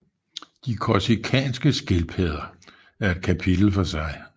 De korsikanske skildpadder er et kapitel for sig